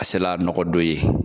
A sela nɔgɔ don ye.